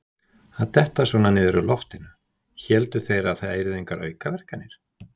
Að detta svona niður úr loftinu: héldu þeir það yrðu engar aukaverkanir?